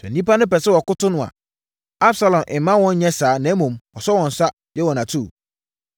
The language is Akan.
Sɛ nnipa pɛ sɛ wɔkoto no a, Absalom mma wɔn nyɛ saa na mmom ɔsɔ wɔn nsa, yɛ wɔn atuu.